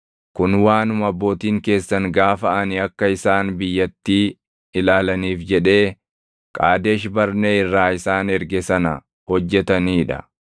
Kun waanuma abbootiin keessan gaafa ani akka isaan biyyattii ilaalaniif jedhee Qaadesh Barnee irraa isaan erge sana hojjetanii dha.